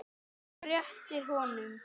Réttir honum.